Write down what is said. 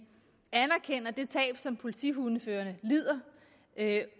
anerkender det tab som politihundeførerne lider